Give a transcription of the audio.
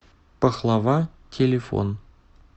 пахлава телефон